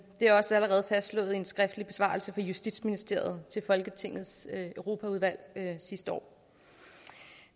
er også allerede fastslået i en skriftlig besvarelse fra justitsministeriet til folketingets europaudvalg sidste år